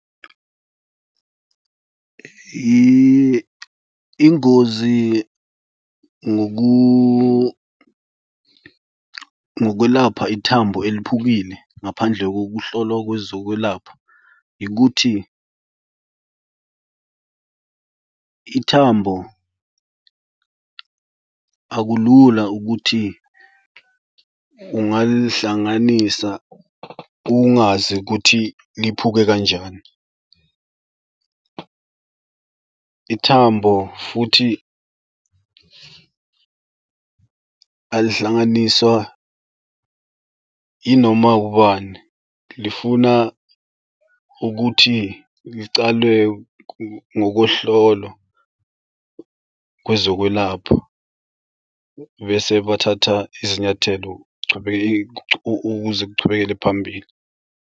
Ingozi ngokwelapha ithambo eliphukile ngaphandle kokuhlolwa kwezokwelapha, yikuthi ithambo akulula ukuthi ungalihlanganisa ungazi ukuthi liphuke kanjani. Ithambo futhi alihlanganiswa yinoma ubani. Lifuna ukuthi licalwe ngokohlolwa kwezokwelapha bese bathatha izinyathelo ukuze kuchubekele phambili.